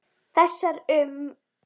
Þessar um